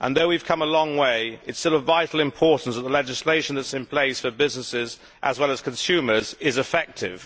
Although we have come a long way, it is still of vital importance that the legislation that is in place for businesses, as well as consumers, is effective.